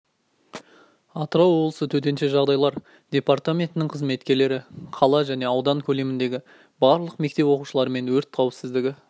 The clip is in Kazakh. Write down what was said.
атырау облысы төтенше жағдайлар департаментінің қызметкерлері қала және аудан көлеміндегі барлық мектеп оқушылармен өрт қауіпсіздігі